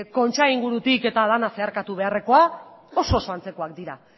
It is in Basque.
kontxa ingurutik eta dena zeharkatu beharrekoa oso oso antzekoak dira